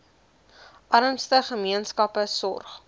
armste gemeenskappe sorg